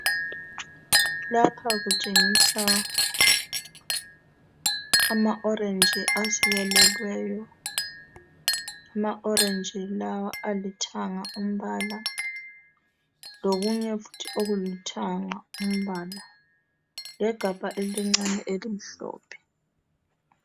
Lapha kutshengisa amaorenji asikelelweyo .Amaorenji la alithanga umbala lokunye futhi olithanga umbala legabha elincane elimhlophe .